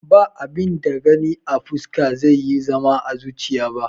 Ba abin da Gani a fuska zai iya zama à zuchiya ba